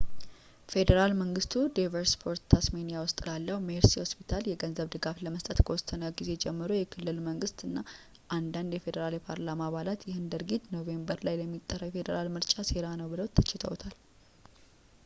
ፌዴራል መንግስቱ ዴቨንፖርት ታስሜኒያ ውስጥ ላለው ሜርሴይ ሆስፒታል የገንዘብ ድጋፍን ለመስጠት ከወሰነ ጊዜ ጀምሮ የክልል መንግስት እና አንዳንድ ፌዴራል የፓርላማ አባላት ይህንን ድርጊት ኖቬምበር ላይ ለሚጠራው የፌዴራል ምርጫ ሴራ ነው ብለው ተችተውታል